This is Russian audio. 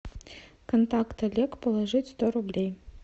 контакт олег положить сто рублей